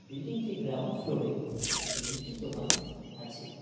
Building -টি ground floor -এ একটি মিষ্টির দোকান আছে।